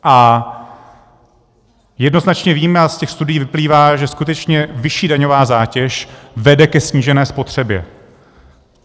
A jednoznačně víme a z těch studií vyplývá, že skutečně vyšší daňová zátěž vede ke snížené spotřebě.